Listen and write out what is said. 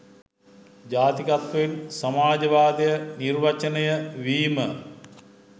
ජාතිකත්වයෙන් සමාජවාදය නිර්වචනය වීම